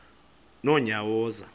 nonyawoza